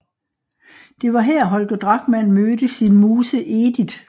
Det var her Holger Drachmann mødte sin muse Edith